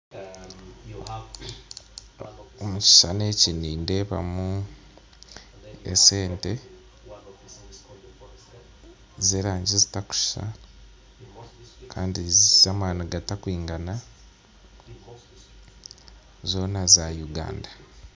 Omu kishuushani eki nindeebamu esente z'erangi zitakushuusha kaine zaine amaani gatakwigana zoona za Uganda